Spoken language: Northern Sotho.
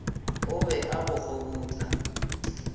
o be a bo kgobutla